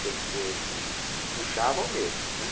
Quer dizer, hum, puxavam mesmo, né?